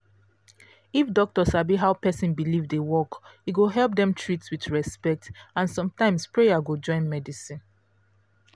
if doctor sabi how person belief dey work e go help dem treat with respect and sometimes prayer go join medicine